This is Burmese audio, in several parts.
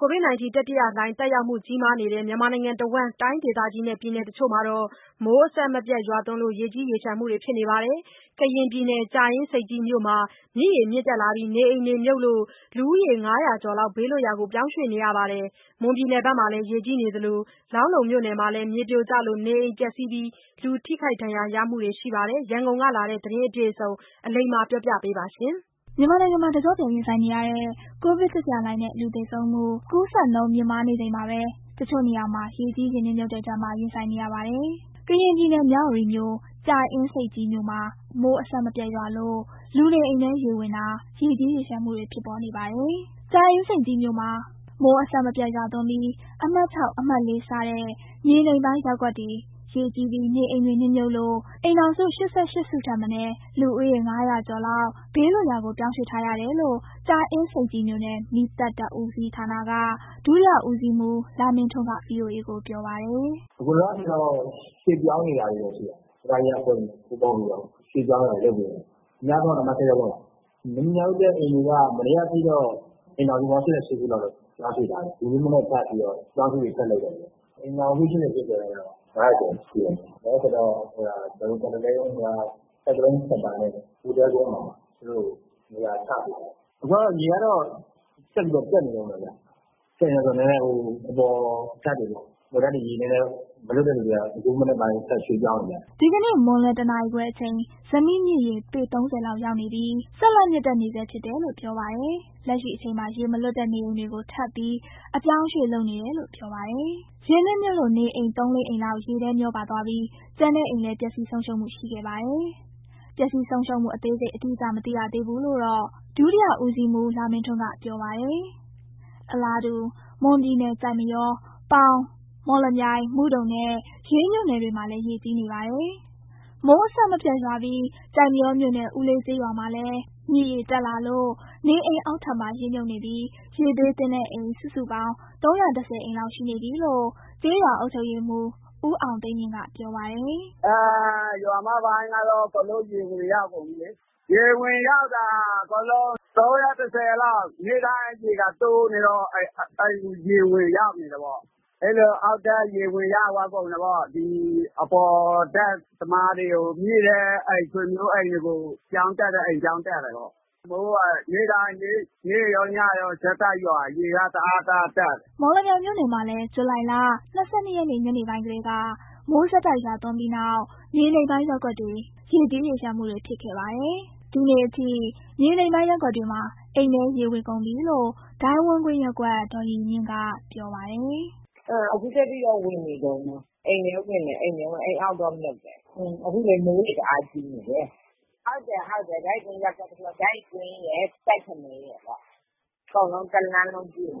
ကိုဗစ်တတိယလှိုင်သက်ရောက်မှုကြီးမားနေတဲ့ မြန်မာနိုင်ငံမှာ တိုင်းဒေသကြီးနဲ့ ပြည်နယ်တချို့က မိုးအဆက်မပြတ်ရွာသွန်းလို့ ရေကြီးရေလျှံမှုတွေဖြစ်နေပါတယ်။ ကရင်ပြည်နယ် ကြာအင်းဆိပ်ကြီးမြို့မှာ မြစ်ရေမြင့်တက်လာပြီး နေအိမ်တွေမြှုပ်လို့ လူဦး ၅၀၀ ကျော်လောက် ဘေးလွတ်ရာကို ပြောင်းရွှေ့နေရပါတယ်။ ဒါအပြင် မွန်ပြည်နယ်မှာလည်း ရေကြီးနေသလို လောင်းလုံးမြို့နယ်မှာ မြေပြိုလို့ နေအိမ်ပျက်စီး လူထိခိုက်ဒဏ်ရာတွေ ရှိနေပါတယ်။ ရန်ကုန်ကလာတဲ့ ဒီသတင်းအပြည့်အစုံ အလိမ္မာပြောပြပါမယ်။ မြန်မာနိုင်ငံမှာ တကျော့ပြန်ရင်ဆိုင်နေရတဲ့ ကိုဗစ်တတိယလှိုင်းနဲ့ လူသေဆုံးမှု၊ ကူးစက်နှုန်းမြင့်မားနေချိန်မှာပဲ တချို့နေရာမှာ ရေကြီး ရေနစ်မြှုပ်တဲ့ ဒဏ်ပါ ရင်ဆိုင်နေရပါတယ်။ ကရင်ပြည်နယ် မြဝတီမြို့၊ ကြာအင်းဆိပ်ကြီးမြို့မှာ မိုးအဆက်မပြတ်ရွာလို့ လူနေအိမ်ထဲ ရေဝင်တာ ရေကြီးရေလျှံမှုတွေ ဖြစ်ပေါ်နေပါတယ်။ ကြာအင်းဆိပ်ကြီးမြို့မှာ မိုးအဆက်မပြတ်ရွာသွန်းပြီး အမှတ် အမှတ် စတဲ့ မြေနိမ့်ပိုင်းရပ်ကွက်တွေ ရေကြီးပြီး နေအိမ်တွေ နစ်မြှပ်လို့ အိမ်ထောင်စု ၈၈ စုထက်မနည်း လူဦးရေ ၅၀၀ ကျော်လောက်ဘေးလွတ်ရာကို ပြောင်းရွှေ့ထားရတယ်လို့ ကြာအင်းဆိပ်ကြီးမြို့နယ် မီးသတ်တပ်ဦးစီးဌာနက ဒုတိယဦးစီးမှူးလမင်းထွန်းက ဗွီအိုအေကို ပြောပါတယ်။ “အခုလောလောဆယ်ကတော့ ရွှေ့ပြောင်းနေတာတွေရှိတယ်၊ ပရဟိတအဖွဲ့တွေနဲ့ စုပေါင်းပြီးတော့ ရွှေ့ပြောင်းတာတွေလုပ်နေပါတယ်၊ အများဆုံးက အမှတ် ရပ်ကွက်ပါ၊ မြုပ်တဲ့ အိမ်တွေက မနေ့ကထိတော့ အိမ်ထောင်စု ၈၈ စုလောက် ပြောင်းရွှေ့ထားတယ်၊ ဒီမနက်ထပ်ပြီးတော့ အပြောင်းအရွှေ့တွေ ထပ်လုပ်တယ်ဗျ။ အိမ်ထောင်စုစု ၈၈ ဆိုရင်တော့ ၅၀၀ ကျော်ရှိတယ်၊ လောလောဆယ်တော့ ဟိုဟာ ကွာရန်တင်းစင်တာနဲ့ ဘိုသဲကုန်းမှာ သူတို့နေရာချပေးထားတယ်၊ အခုကတော့ ရေကတော့ ဆက်ပြီးတက်နေတုန်းပဲဗျ၊ တက်နေတယ်ဆိုတော့ နည်းနည်း ဟိုအပေါ်တပ်တွေပေါ့ အပေါ်ထပ်တွေ ရေနည်းနည်းမလွတ်တဲ့လူတွေက အခုမနက်ပိုင်းထပ်ရွှေ့ပြောင်းနေကြတယ်။” ဒီကနေ့ မွန်လွဲ ၁ နာရီခွဲအချိန် ဇမိမြစ်ရေ ပေ ၃၀ လောက်ရောက်နေပြီး ဆက်လက်မြင့်တက်နေဆဲ ဖြစ်တယ်လို့ ပြောပါတယ်။ လက်ရှိအချိန်မှာ ရေမလွတ်တဲ့ နေအိမ်တွေကို ထပ်ပြီး အပြောင်းအရွှေ့လုပ်နေတယ်လို့ ပြောပါတယ်။ ရေနစ်မြုပ်လို့ နေအိမ် သုံး၊ လေးအိမ်လောက် ရေထဲမြောပါသွားပြီး ကျန်တဲ့အိမ်လည်း ပျက်စီးဆုံးရှုံးမှုရှိခဲ့ပါတယ်။ ပျက်စီးဆုံးရှုံးမှုအသေးစိတ် အတိအကျမသိရသေးဘူးလို့တော့ ဒုတိယဦးစီးမှူးလမင်းထွန်းက ပြောပါတယ်။ အလားတူ မွန်ပြည်နယ် ကျိုက်မရော၊ ပေါင်၊ မော်လမြိုင်၊ မုဒုံနဲ့ ရေးမြို့နယ်တွေမှာလည်း ရေကြီးနေပါတယ်။ မိုးအဆက်မပြတ်ရွာပြီး ကျိုက်မရောမြို့နယ် ဦးလေးကျေးရွာမှာ မြစ်ရေတက်လာလို့ နေအိမ်အောက်ထပ်မှာ ရေမြှုပ်နေပြီး ရေဘေးသင့်တဲ့ အိမ် စုစုပေါင်း ၃၁၀ အိမ် လောက်ရှိနေပြီးလို့ ကျေးရွာအုပ်ချုပ်ရေးမှူး ဦးအောင်သိန်းမြင့်က ပြောပါတယ်။ “ရွာမပိုင်းကတော့ အကုန်လုံးရေဝင်ရောက်ကုန်ပြီးလေး၊ ရေဝင်ရောက်တာ အကုန်လုံး ၃၁၀ လောက်၊ နေ့တိုင်းရေကတိုးနေတော့ အိမ်ကိုရေဝင်ရောက်နေတယ်ပေါ့၊ အဲ့လိုအောက်ထပ်ရေဝင်ရောက်သွားကုန်တာပေါ့၊ ဒီအပေါ်ထပ်သမားတွေကို မြင့်တဲ့ အိမ်ဆွေမျိုးအိမ်တွေကို ပြောင်းတက်တဲ့ ပြောင်းတက်တယ်ပေါ့၊ မိုးက နေ့ရော ညရောဆက်တိုက်ရွာ ရေက တအား တအားတက်နေတယ်။” မော်လမြိုင်မြို့နယ်မှာလည်း ဇူလိုင် ၂၂ ရက်နေ့ ညနေပိုင်းကတည်းက မိုးဆက်တိုက်သွန်းပြီးနောက် မြေနိမ့်ပိုင်းရပ်ကွက်တွေ ရေကြီးရေလျှံမှုတွေဖြစ်ခဲ့ပါတယ်။ ဒီနေ့အထိ မြေနိမ့်ပိုင်းရပ်ကွက်တွေမှာ အိမ်ထဲရေဝင်ကုန်ပြီလို့ ဒိုင်းဝန်းကွင်းရပ်ကွက် ဒေါ်ရီရီမြင့် က ပြောပါတယ်။ “အခုထက်ထိတော့ ဝင်နေတုန်းပဲ အိမ်ထဲဝင်တယ် အိမ်ထဲ အိမ်အောက်တော့ မြှုပ်တယ်၊ အခုလည်း မိုးတွေတအားကြီးနေတယ်၊ ဒိုင်းဝန်းကွင်းရယ် ကျိုက်ဖနဲရယ် အကုန်လုံး တစ်လမ်းလုံးပြည့်နေတ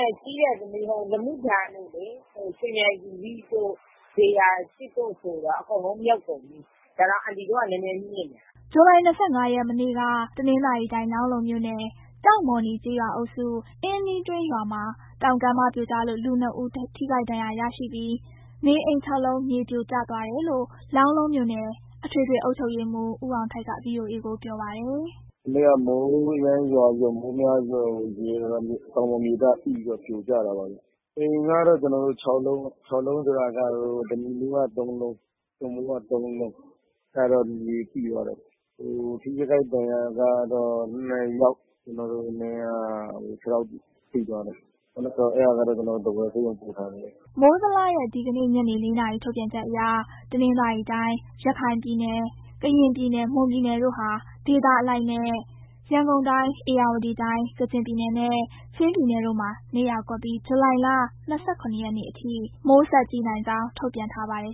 ယ်။ ကြီးတယ် လမုတန်တို့ ရွှေမြိုင်သီရိတို့၊ ဇေယျာ တို့တာ အကုန်လုံးမြှုပ်ကုန်ပြီး ဒါတောင် အန်တီတို့က နည်းနည်းမြင့်နေတယ်။” ဇူလိုင် ၂၅ ရက် မနေ့က တနင်္သာရီတိုင်း၊ လောင်းလုံးမြို့နယ် ကျောက်မော်နီကျေးရွာအုပ်စု အင်းနီးတွင်းရွာမှာ တောင်ကမ်းပါးပြိုကျလို့ လူ နှစ်ဦးထိခိုက်ဒဏ်ရာရပြီး နေအိမ် ၆ လုံး မြေမိပြိုကျသွားတယ်လို့ လောင်းလုံးမြို့နယ် အထွေထွေအုပ်ချုပ်ရေးမှူး ဦးအောင်ထိုက်က ဗွီအိုအေကို ပြောပါတယ်။ “မနေ့က မိုးအရမ်းရွာပြီးတော့ မိုးများပြီးတော့ တောင်ပေါ်မြေသားမိပြီးတော့ ပြိုကျတာပဲဗျ၊ အိမ်ကတော့ ကျနော်တို့ ၆ လုံး၊ ၆ လုံးဆိုတာက ဓနိမိုးက ၃ လုံး၊ သွပ်မိုးက ၃ လုံး၊ အဲ့ဒါတာ မြေမိသွားတာပေါ့၊ ထိခိုက်ဒဏ်ရာကတော့ နှစ်ယောက် ကျနော်တို့ ဟိုနေ့က ခြေထောင်ထိသွားတယ်၊ အဲ့ဒါကတော့ ကျနော်တို့ ထားဝယ်ဆေးရုံပို့ထားတယ်။” မိုးဇလရဲ့ ဒီကနေ့ ညနေ ၄ နာရီထုတ်ပြန်ချက်အရ တနင်္သာရီတိုင်း၊ ရခိုင်ပြည်နယ်၊ ကရင်ပြည်နယ်၊ မွန်ပြည်နယ်တို့ဟာ ဒေသအလိုက်နဲ့ ရန်ကုန်တိုင်း၊ ဧရာဝတီတိုင်း၊ ကချင်ပြည်နယ်နဲ့ ချင်းပြည်နယ်တို့မှာ နေရာကွက်ပြီး ဇူလိုင် ၂၇ ရက်အထိ မိုးဆက်ကြီးနိုင်ကြောင်း ထုတ်ပြန်ထားပါတယ်